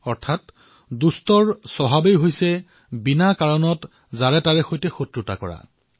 অৰ্থাৎ দুষ্টৰ স্বভাৱেই হল সকলোৰে সৈতে শত্ৰুতা কৰা